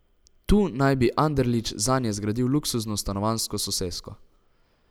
Tu naj bi Anderlič zanje zgradil luksuzno stanovanjsko sosesko.